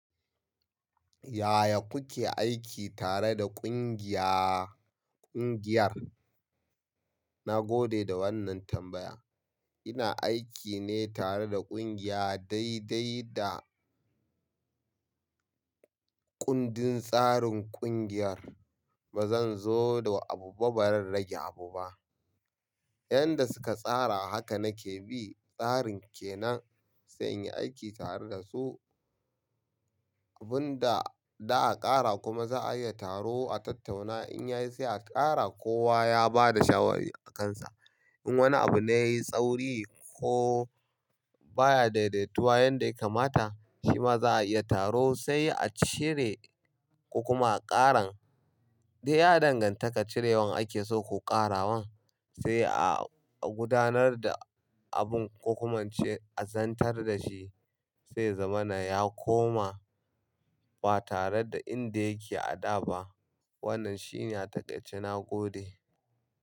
Yaya kuke aiki tare da ƙungiya ƙungiyar? Na gode da wannan tambaya. Ina aiki ne tare da ƙungiya daidai da kundin tsarin ƙungiyar. Ba zan zo da abu ba, ba zan rage abu ba. Yanda suka tsara haka nake bi tsarin ke nan sai in yi aiki tare da su. Abun da za a ƙara kuma za a iya taro a tattauna in yayi sai a ƙara. Kowa ya ba da shawari a kansa. In wani abu ne ya yi tsauri ko baya daidaituwa yanda ya kamata shi ma za a iya taro sai a cire ko kuma a ƙaran. Duk ya danganta ka cirewan ake so ko ƙarawan sai a a gudanar da abin ko kuma in ce a zantar da shi sai ya zama na ya koma ba tare da inda yake a da ba. Wannan shine a taƙaice na gode.